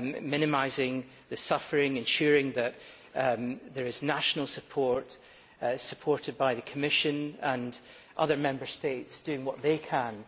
minimising the suffering, ensuring that there is national support, supported by the Commission and other Member States doing what they can,